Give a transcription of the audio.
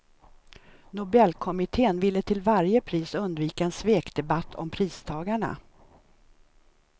Nobelkommittén ville till varje pris undvika en svekdebatt om pristagarna.